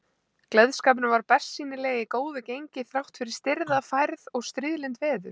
Gleðskapurinn var bersýnilega í góðu gengi þráttfyrir stirða færð og stríðlynd veður.